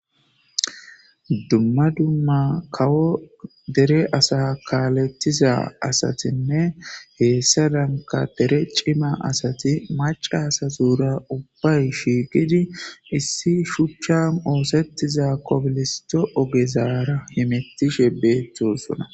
Dumma dumma kawo dere asaa kaaleththiza asathinne heyssarakka dere cima asathi macca asathuura ubbay shiiqizi issi shuchchaan ooseththiza kobilisththo ogezaara hemeththishe beeththoosona.